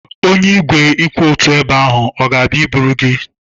Onye igwe kwụ otu ebe ahụ ọ ga-abịa iburu gị?